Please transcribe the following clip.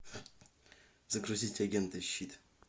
загрузить агенты щит